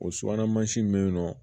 O subahana mansin bɛ yen nɔ